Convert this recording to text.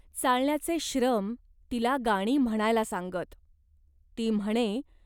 चालण्याचे श्रम तिला गाणी म्हणायला सांगत. ती म्हणे.